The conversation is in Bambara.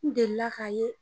N delila k'a ye